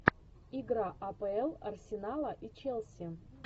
игра апл арсенала и челси